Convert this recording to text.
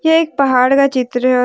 ये एक पहाड़ का चित्र और--